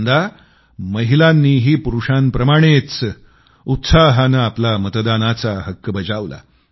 यंदा महिलांनीही पुरूषांप्रमाणेच उत्साहानं आपला मतदानाचा हक्क बजावला